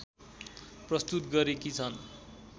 प्रस्तुत गरेकी छन्